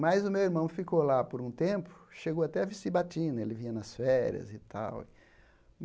Mas o meu irmão ficou lá por um tempo, chegou até a vestir batina, ele vinha nas férias e tal.